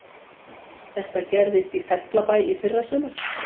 Þetta gerðist í Fellabæ í fyrrasumar